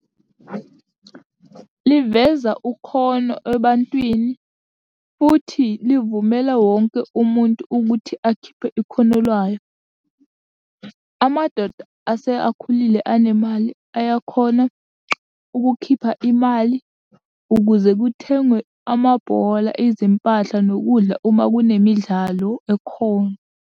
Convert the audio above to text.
Liveza ukhono ebantwini, futhi livumele wonke umuntu ukuthi akhiphe ikhono lwayo. Amadoda ase akhulile anemali ayakhona ukukhipha imali ukuze kuthengwe amabhola, izimpahla, nokudla uma kunemidlalo ekhona.